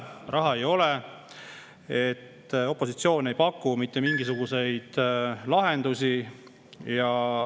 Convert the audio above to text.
Raha ei ole ja opositsioon ei paku mitte mingisuguseid lahendusi.